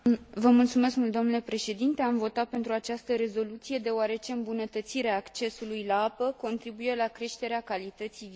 Am votat pentru această rezoluție deoarece îmbunătățirea accesului la apă contribuie la creșterea calității vieții populației.